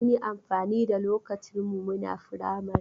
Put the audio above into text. Mun amfani da lokacin muna firamari.